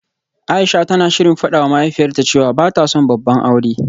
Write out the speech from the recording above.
Aisha tana shirin fadawa mahaifiyarta cewa bata son babban aure